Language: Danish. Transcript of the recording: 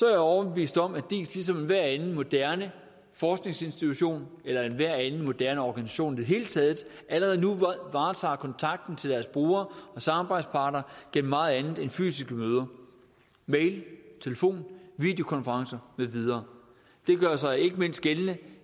jeg overbevist om at diis ligesom enhver anden moderne forskningsinstitution eller enhver anden moderne organisation i det hele taget allerede nu varetager kontakten til deres brugere og samarbejdspartnere gennem meget andet end fysiske møder mail telefon videokonferencer med videre det gør sig så ikke mindst gældende